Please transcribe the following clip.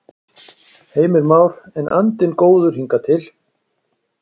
Heimir Már: En andinn góður hingað til?